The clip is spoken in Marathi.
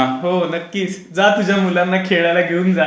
हो नक्कीच. जा तुझ्या मुलांना खेळायला घेऊन जा.